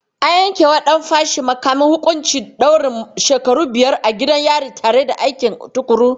An yankewa ɗan fashi da makamin huƙuncin ɗaurin shekaru biyar a gidan yari tare da aiki tukuru.